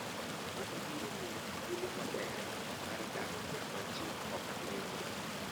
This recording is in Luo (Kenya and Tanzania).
Mano biro miyi thuolo maber mar dak kama ji ok ng'enyie.